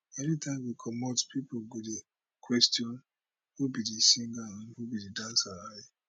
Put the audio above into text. anytime we comot pipo go dey question who be di singer and who be di dancer i